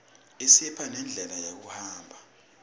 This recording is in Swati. isipha nendlela yekuhamba